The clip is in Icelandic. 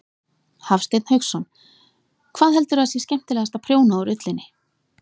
Hafsteinn Hauksson: Hvað heldurðu að sé skemmtilegast að prjóna úr ullinni?